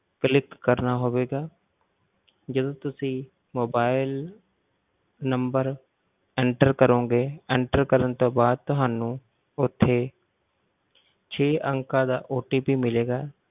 Click ਕਰਨਾ ਹੋਵੇਗਾ ਜਦੋਂ ਤੁਸੀਂ mobile number enter ਕਰੋਂਗੇ enter ਕਰਨ ਤੋਂ ਬਾਅਦ ਤੁਹਾਨੂੰ ਉੱਥੇ ਛੇ ਅੰਕਾਂ ਦਾ OTP ਮਿਲੇਗਾ,